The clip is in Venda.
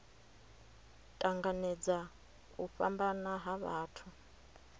tanganedza u fhambana ha vhathu